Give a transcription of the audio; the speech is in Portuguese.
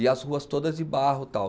E as ruas todas de barro tal.